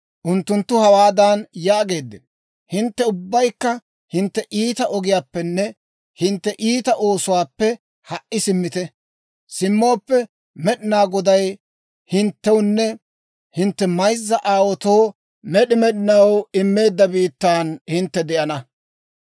Unttunttu hawaadan yaageeddino; ‹Hintte ubbaykka hintte iita ogiyaappenne hintte iita oosuwaappe ha"i simmite. Simmooppe, Med'inaa Goday hinttewunne hintte mayzza aawaatoo med'i med'inaw immeedda biittan hintte de'ana.